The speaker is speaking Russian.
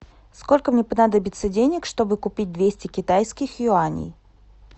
сколько мне понадобится денег чтобы купить двести китайских юаней